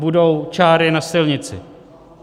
Budou čáry na silnici.